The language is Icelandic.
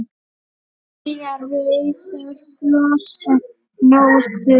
Belja rauðar blossa móður